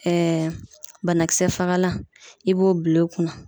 Ɛɛ banakisɛ fagalan i b'o bil'o kunna